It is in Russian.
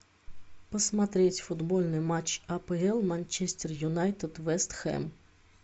посмотреть футбольный матч апл манчестер юнайтед вест хэм